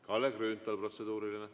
Kalle Grünthal, protseduuriline.